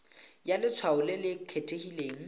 ya letshwao le le kgethegileng